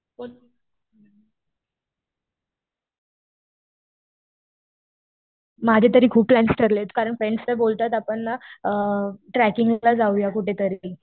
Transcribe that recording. बोल. माझे तरी खूप प्लॅन्स ठरलेत. कारण फ्रेंड्स तर बोलतात आपण ना ट्रेकिंग ला जाऊया कुठेतरी.